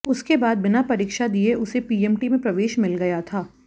उसके बाद बिना परीक्षा दिए उसे पीएमटी में प्रवेश मिल गया था